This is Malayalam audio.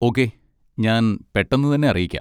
ഓക്കേ, ഞാൻ പെട്ടെന്ന് തന്നെ അറിയിക്കാം.